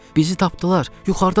Bizi tapdılar, yuxarıdadırlar.